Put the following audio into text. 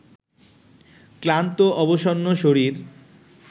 ক্লান্ত-অবসন্ন শরীর